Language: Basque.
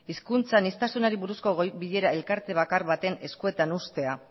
hizkuntza aniztasunari buruzko bilera elkarte bakar baten eskuetan uztea